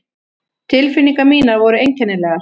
Tilfinningar mínar voru einkennilegar.